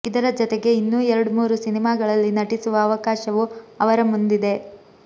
ಇದರ ಜತೆಗೆ ಇನ್ನೊ ಎರಡ್ಮೂರು ಸಿನಿಮಾಗಳಲ್ಲಿ ನಟಿಸುವ ಅವಕಾಶವೂ ಅವರ ಮುಂದಿದೆ